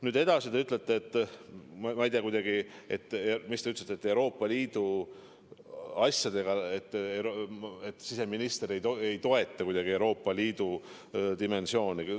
Nüüd edasi, te ütlete, et siseminister ei toeta Euroopa Liidu dimensiooni.